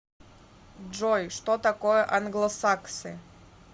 джой что такое англосаксы